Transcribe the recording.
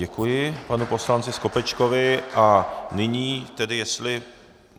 Děkuji panu poslanci Skopečkovi a nyní tedy jestli...